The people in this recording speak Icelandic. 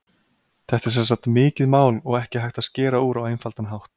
Þetta er sem sagt mikið mál og ekki hægt að skera úr á einfaldan hátt.